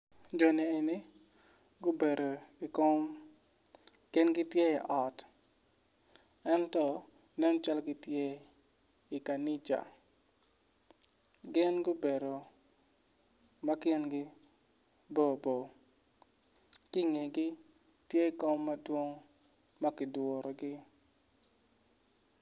Joni eni gubedo ikom gin gitye i ot ento en calo gitye ikanica gin gubedo ma kingi bo bo ki ingegi tye kom madwong ma kidurugi